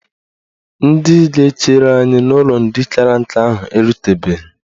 Ndị ga-echere anyị n'ụlọ ndị kara nka ahụ erutebeghi